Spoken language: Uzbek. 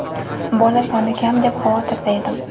bola soni kam deb xavotirda edim.